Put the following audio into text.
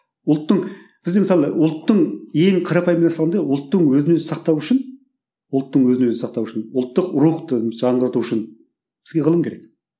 ұлттың бізде мысалы ұлттың ең қарапайым мысалында ұлттың өзін өзі сақтау үшін ұлттың өзін өзі сақтауы үшін ұлттық рұхты жаңғырту үшін бізге ғылым керек